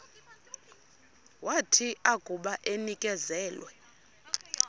wathi akuba enikezelwe